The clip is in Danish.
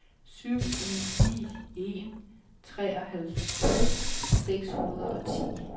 syv en ni en treoghalvtreds seks hundrede og ti